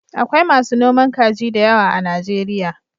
Akwai masu noman kaji da yawa a Najeriya.